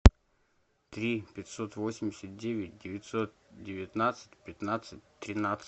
три пятьсот восемьдесят девять девятьсот девятнадцать пятнадцать тринадцать